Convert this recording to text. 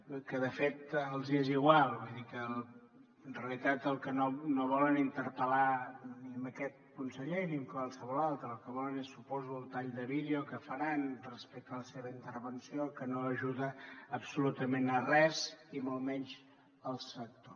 perquè de fet els hi és igual vull dir que en realitat no volen interpel·lar ni aquest conseller ni qualsevol altre el que volen és suposo el tall de vídeo que faran respecte a la seva intervenció que no ajuda absolutament en res i molt menys el sector